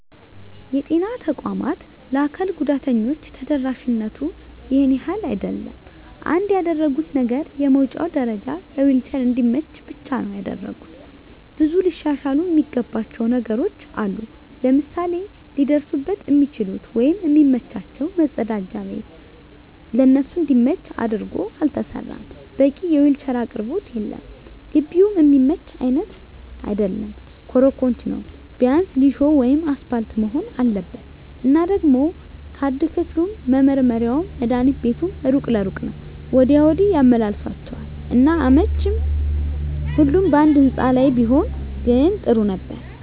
የጤና ተቋማት ለአካል ጉዳተኞች ተደራሽነቱ ይሄን ያህል አይደለም። አንድ ያደረጉት ነገር የመዉጫ ደረጀዉ ለዊልቸር እንዲመች ብቻ ነዉ ያደረጉት። ብዙ ሊሻሻሉ እሚገባቸዉ ነገሮች አሉ፤ ለምሳሌ ሊደርሱበት እሚችሉት ወይም እሚመቻቸዉ መፀዳጃ ቤት ለነሱ እንዲመች አድርጎ አልተሰራም፣ በቂ የዊልቸር አቅርቦት የለም፣ ግቢዉም እሚመች አይነት አይደለም ኮሮኮንች ነዉ ቢያንስ ሊሾ ወይም አሰፓልት መሆን አለበት። እና ደሞ ካርድ ክፍሉም፣ መመርመሪያዉም፣ መድሀኒት ቤቱም እሩቅ ለእሩቅ ነዉ ወዲያ ወዲህ ያመላልሷቸዋል እና አይመቺም ሁሉም ባንድ ህንፃ ላይ ቢሆን ግን ጥሩ ነበር።